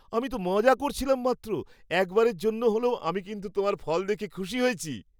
আমি তো মজা করছিলাম মাত্র। একবারের জন্য হলেও আমি কিন্তু তোমার ফল দেখে খুশি হয়েছি।